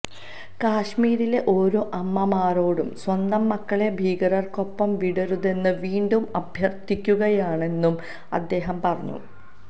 കശ്മീരിലെ ഓരോ അമ്മമാരോടും സ്വന്തം മക്കളെ ഭീകരര്ക്കൊപ്പം വിടരുതെന്ന് വീണ്ടും അഭ്യര്ത്ഥിക്കുകയാണെന്നും അദ്ദേഹം പറഞ്ഞു